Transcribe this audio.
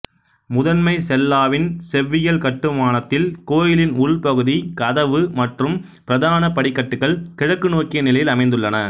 முதன்மை செல்லாவின் செவ்வியல் கட்டுமானத்தில் கோயிலின் உள் பகுதி கதவு மற்றும் பிரதான படிக்கட்டுகள் கிழக்கு நோக்கிய நிலையில் அமைந்துள்ளன